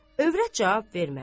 Övrət cavab vermədi.